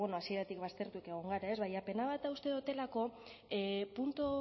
hasieratik baztertuta egon gara baina pena bat da uste dudalako puntu